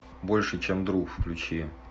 больше чем друг включи